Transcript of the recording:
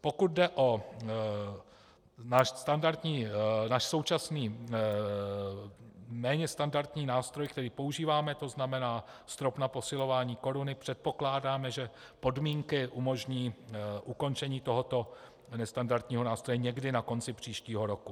Pokud jde o náš současný méně standardní nástroj, který používáme, to znamená strop na posilování koruny, předpokládáme, že podmínky umožní ukončení tohoto nestandardního nástroje někdy na konci příštího roku.